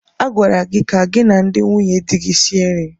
A gwara gị ka gị na ndị nwunye di gị sie nri.